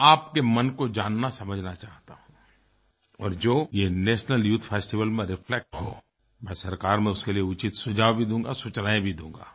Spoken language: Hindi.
मैं आपके मन को जाननासमझना चाहता हूँ और जो ये नेशनल यूथ फेस्टिवल में रिफ्लेक्ट हो मैं सरकार में उसके लिए उचित सुझाव भी दूँगा सूचनाएँ भी दूँगा